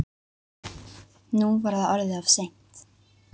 Nú var það orðið of seint.